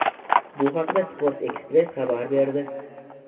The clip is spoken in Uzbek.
Bu haqda "Sport ekspress" xabar berdi.